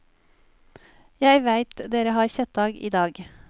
Jeg veit dere har kjøttdag i dag.